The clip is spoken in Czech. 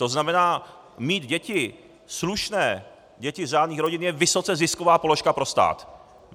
To znamená, mít děti, slušné, děti z řádných rodin, je vysoce zisková položka pro stát.